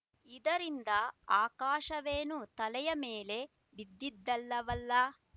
ಇದರಿಂದ ಆಕಾಶವೇನೂ ತಲೆಯ ಮೇಲೆ ಬಿದ್ದಿದಲ್ಲವಲ್ಲ